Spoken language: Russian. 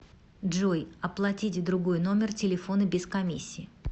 джой оплатить другой номер телефона без комиссии